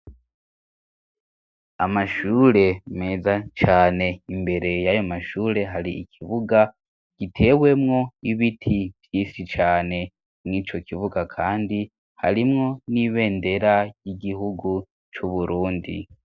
Amashure meza cane imbere y'ayo amashure hari ikibuga gitewemwo ibiti vy'isi cane mw'ico kibuga kandi harimwo n'ibendera y'igihugu c'uburundi.